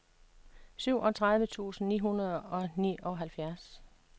syvogtredive tusind ni hundrede og nioghalvfjerds